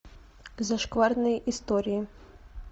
зашкварные истории